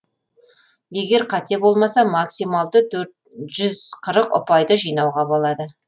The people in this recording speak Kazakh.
егер қате болмаса максималды жүз қырық ұпайды жинауға болады